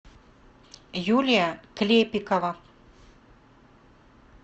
юлия клепикова